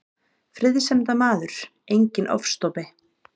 Friðsemdarmaður, enginn ofstopi.